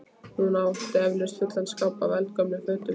Hún átti eflaust fulla skápa af eldgömlum fötum.